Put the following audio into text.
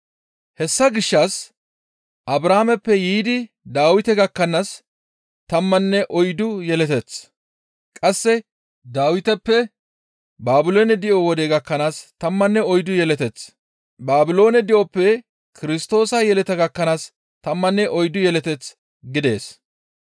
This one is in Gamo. Hessa gishshas Abrahaameppe yiidi Dawite gakkanaas tammanne oyddu yeleteth; qasse Dawiteppe Baabiloone di7o wode gakkanaas tammanne oyddu yeleteth; Baabiloone di7oppe Kirstoosa yeleta gakkanaas tammanne oyddu yeleta gidees.